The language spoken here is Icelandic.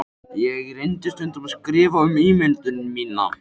Ég reyndi stundum að skrifa um ímyndun mína.